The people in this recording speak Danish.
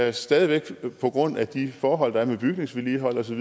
er stadig væk på grund af de forhold der er omkring bygningsvedligeholdelse